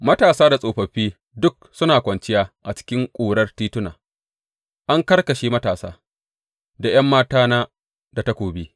Matasa da tsofaffi duk suna kwanciya a cikin ƙurar tituna; an karkashe matasa da ’yan matana da takobi.